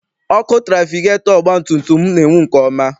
Ọkụ trafigetọ ọgbatumtum m na-enwu nke ọma.